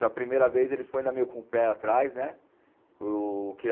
A primeira vez ele foi ainda meio com o pé atrás, né? O